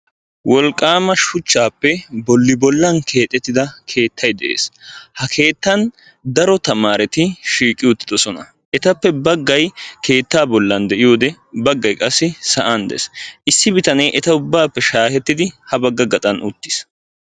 Wolqqaama shuchchaappe bolli bollan keexetti da keettay dees. Ha keettan daro tamaaretti shiiqi uttidosona. Etappe baggay keettaa bollan de'iyide baggay qassi sa'an dees. Isdi bitanee eta ubbaappe shaahettidi ha bagga gaxan uttiis.